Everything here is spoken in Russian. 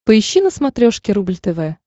поищи на смотрешке рубль тв